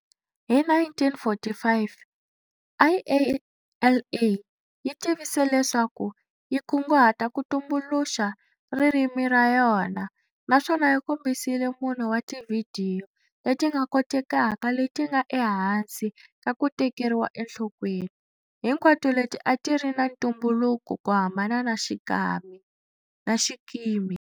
Hi 1945, IALA yi tivise leswaku yi kunguhata ku tumbuluxa ririmi ra yona naswona yi kombisile mune wa tivhidiyo leti nga kotekaka leti nga ehansi ka ku tekeriwa enhlokweni, hinkwato leti a ti ri ta ntumbuluko ku hambana na xikimi.